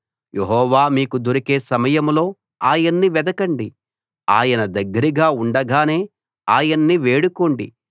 యెహోవా మీకు దొరికే సమయంలో ఆయన్ని వెదకండి ఆయన దగ్గరగా ఉండగానే ఆయన్ని వేడుకోండి